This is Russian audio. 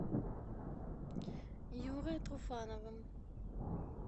юрой труфановым